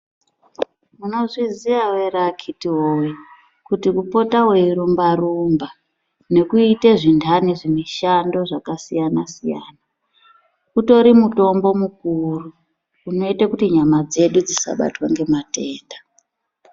Munozviziyawo ere akhiti woye kuti kupota weirumbarumba, nekuite zvintani zvimushando zvakasiyana-siyana utori mutombo mukuru. Zvinoite kuti nyama dzedu dzisabatwa ngematenda.